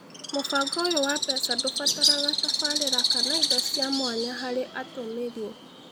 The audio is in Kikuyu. Mũbango ũyũ wa mbeca ndũbataraga tafarĩra kana indo cia mwanya harĩ atũmĩri